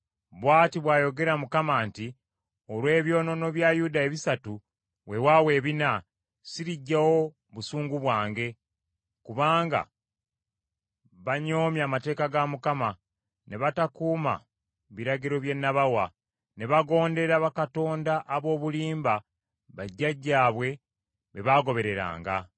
Bw’ati bw’ayogera Mukama nti, “Olw’ebyonoono bya Yuda ebisatu weewaawo ebina, siriggyawo busungu bwange. Kubanga banyoomye amateeka ga Mukama , ne batakuuma biragiro bye nabawa ne bagondera bakatonda ab’obulimba bajjajjaabwe be baagobereranga.